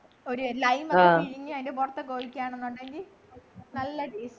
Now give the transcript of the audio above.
ഒരു lime ഒക്കെ പിഴിഞ്ഞ് അതിൻ്റെ പുറത്തൊക്കെ ഒഴിക്കാനെന്നുണ്ടെങ്കി നല്ല taste